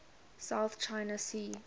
south china sea